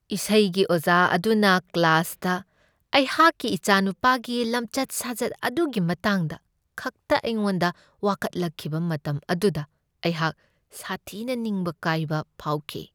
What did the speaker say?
ꯏꯁꯩꯒꯤ ꯑꯣꯖꯥ ꯑꯗꯨꯅ ꯀ꯭ꯂꯥꯁꯇ ꯑꯩꯍꯥꯛꯀꯤ ꯏꯆꯥꯅꯨꯄꯥꯒꯤ ꯂꯝꯆꯠ ꯁꯥꯖꯠ ꯑꯗꯨꯒꯤ ꯃꯇꯥꯡꯗ ꯈꯛꯇ ꯑꯩꯉꯣꯟꯗ ꯋꯥꯀꯠꯂꯛꯈꯤꯕ ꯃꯇꯝ ꯑꯗꯨꯗ ꯑꯩꯍꯥꯛ ꯁꯥꯊꯤꯅ ꯅꯤꯡꯕ ꯀꯥꯏꯕ ꯐꯥꯎꯈꯤ꯫